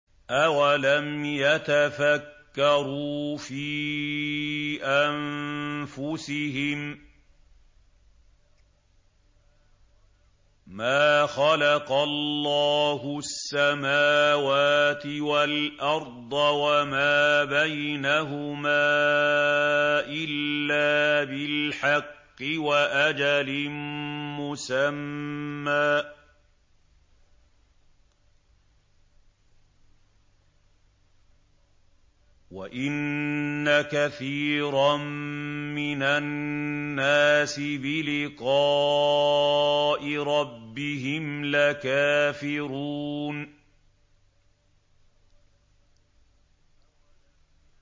أَوَلَمْ يَتَفَكَّرُوا فِي أَنفُسِهِم ۗ مَّا خَلَقَ اللَّهُ السَّمَاوَاتِ وَالْأَرْضَ وَمَا بَيْنَهُمَا إِلَّا بِالْحَقِّ وَأَجَلٍ مُّسَمًّى ۗ وَإِنَّ كَثِيرًا مِّنَ النَّاسِ بِلِقَاءِ رَبِّهِمْ لَكَافِرُونَ